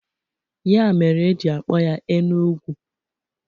Ya mere e ji akpọ ya Enu-Ugwu.